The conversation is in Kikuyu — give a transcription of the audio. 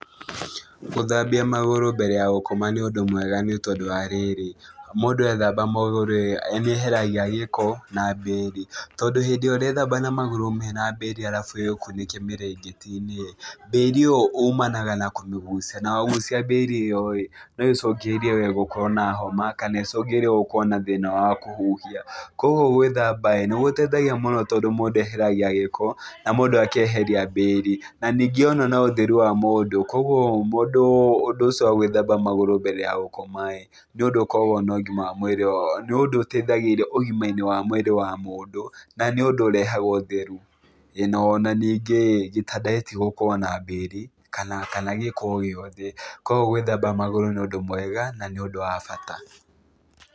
Gũthambia magũrũ mbere ya gũkoma nĩ ũndũ mwega nĩ tondũ wa rĩrĩ, mũndũ ethamba magũrũ-ĩ nĩeheragia gĩko na mbĩri, tondũ hĩndĩ ĩrĩa ũrethamba na magũrũ mena mbĩri arabu wĩkunĩke mĩrĩngĩti-inĩ ĩ, mbĩri ĩyo umanaga na kũmĩgucia na wagucia mbĩri ĩyo-ĩ no ĩcungĩrĩrie wee gũkorwo na homa kana ĩcũngĩrĩrie gũkorwo na thĩna wa kũhuhia, kuoguo gwĩthamba-ĩ nĩgũteithagia mũno tondũ mũndũ eheragia gĩko na mũndũ akeheria mbĩri, na ningĩ ona no ũtheru wa mũndũ, kuoguo mũndũ ũndũ ũcio wa gwĩthamba magũrũ mbere ya gũkoma-ĩ, nĩũndũ ũkoragwo na ũgima wa mwĩrĩ nĩũndũ ũteithagĩrĩria ũgima-inĩ wa mwĩrĩ wa mũndũ, na nĩ ũndũ ũrehaga ũtheru. Ĩĩ ona ningĩ-ĩ, gĩtanda gĩtigũkorwo na mbĩri kana kana gĩko o gĩothe, koguo gwĩthamba magũrũ nĩ ũndũ mwega na nĩ ũndũ wa bata.